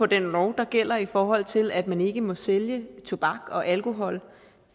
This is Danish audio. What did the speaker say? den lov der gælder i forhold til at man ikke må sælge tobak og alkohol